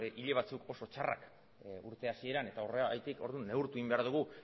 hile batzuk oso txarrak urte hasieran eta horregatik orduan neurtu egin behar dugu